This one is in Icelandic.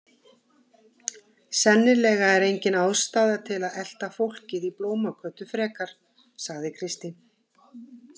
Sennilega er engin ástæða til að elta fólkið í Blómagötu frekar, sagði Kristín.